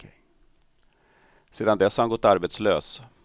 Sedan dess har han gått arbetslös.